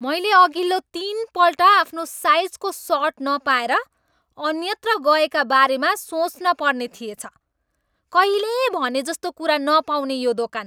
मैले अघिल्लो तिनपल्ट आफ्नो साइजको सर्ट नपाएर अन्यत्र गएका बारेमा सोच्नपर्ने थिएछ। कहिले भनेजस्तो कुरा नपाउने यो दोकान!